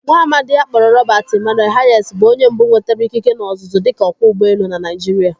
Nwaamadi a kpọrọ Robert Emmanuel Hayes bụ onye mbụ nwetara ịkịke na ọzụzụ dika ọkwọ ụgbọelu na Naijiria.